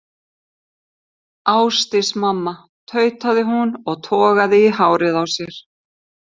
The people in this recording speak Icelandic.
Ásdís mamma, tautaði hún og togaði í hárið á sér.